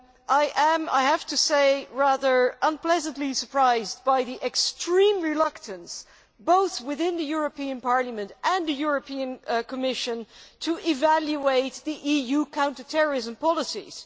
I am rather unpleasantly surprised by the extreme reluctance both within the European Parliament and the European Commission to evaluate the EU counter terrorism policies.